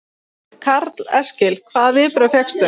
Karl Eskil: Hvaða viðbrögð fékkstu?